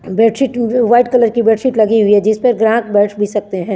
Bed sheet two way white colour कि bed sheet लगी हुई है जिस पे ग्राहक बेठ भी सकते है।